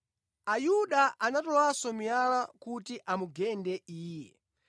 Ayuda anatolanso miyala kuti amugende Iye,